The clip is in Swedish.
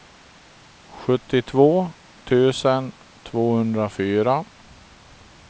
sjuttiotvå tusen tvåhundrafyra